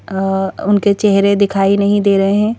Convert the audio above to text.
अ उनके चेहरे दिखाई नहीं दे रहे--